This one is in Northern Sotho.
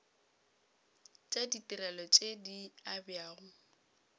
tša ditirelo tše di abjago